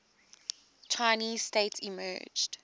chinese state emerged